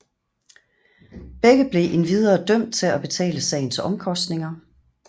Begge blev endvidere dømt til at betale sagens omkostninger